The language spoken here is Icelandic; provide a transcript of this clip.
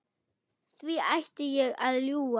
Hví ætti ég að ljúga?